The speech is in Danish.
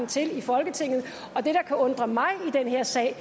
til i folketinget og det der kan undre mig i den her sag er